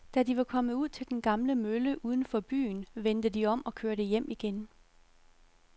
Da de var kommet ud til den gamle mølle uden for byen, vendte de om og kørte hjem igen.